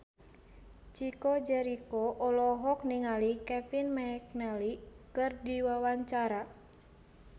Chico Jericho olohok ningali Kevin McNally keur diwawancara